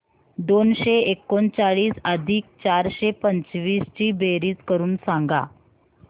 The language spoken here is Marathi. दोनशे एकोणचाळीस अधिक चारशे पंचवीस ची बेरीज करून सांगा